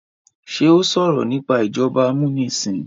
ṣe o sọrọ nipa ìjọba amunisin?